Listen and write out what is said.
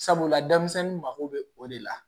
Sabula denmisɛnnin mako bɛ o de la